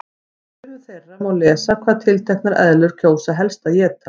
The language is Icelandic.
Í sumum þeirra má lesa hvað tilteknar eðlur kjósa helst að éta.